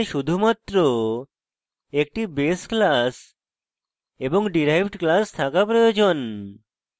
এখানে শুধুমাত্র একটি base class এবং derived class থাকা প্রয়োজন